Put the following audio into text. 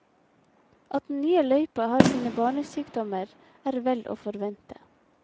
At den nye løypa har sine barnesykdommer, er vel å forvente.